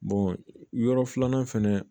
yɔrɔ filanan fɛnɛ